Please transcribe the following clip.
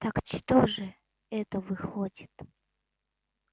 так что же это выходит